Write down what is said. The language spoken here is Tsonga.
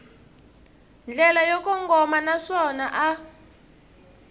ndlela yo kongoma naswona a